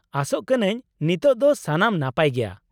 ᱟᱥᱚᱜ ᱠᱟᱹᱱᱟᱹᱧ ᱱᱤᱛᱳᱜ ᱫᱚ ᱥᱟᱱᱟᱢ ᱱᱟᱯᱟᱭ ᱜᱮᱭᱟ ?